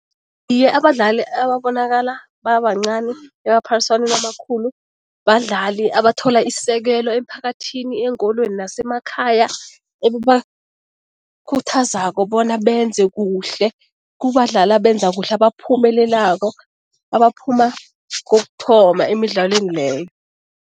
Iye, abadlali ababonakala babancani emaphaliswaneni amakhulu, badlali abathola isekelo emphakathini, eenkolweni, nasemakhaya, enibakhuthazako bona benze kuhle, kubadlali abenza kuhle, abaphumelelako, abaphuma kokuthoma emidlalweni leyo.